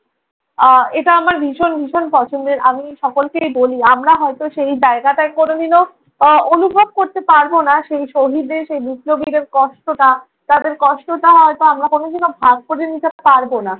আহ এটা আমার ভীষণ ভীষণ পছন্দের। আমি সকলকেই বলি আমরা হয়তো সেই জায়গাটা করে নিলেও অ~ অনুভব করতে পারবো না সেই শহীদদের, সেই বিপ্লবীদের কষ্টটা। তাদের কষ্টটা হয়তো আমরা কোনদিনও ভাগ করে নিতে পারবো না।